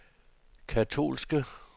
katolske